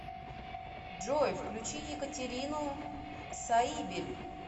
джой включи екатерину саибель